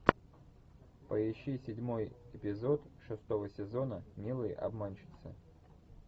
поищи седьмой эпизод шестого сезона милые обманщицы